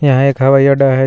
यहां एक हवाई अड्डा है जिस--